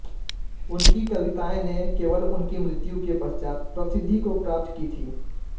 उनकी कविताएँ ने केवल उनकी मृत्यु के पश्चात प्रसिद्धि को प्राप्त की थी